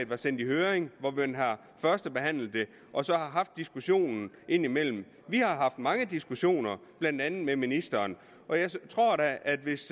blev sendt i høring og man har førstebehandlet det og har haft diskussionen indimellem vi har haft mange diskussioner blandt andet med ministeren og jeg tror da at hvis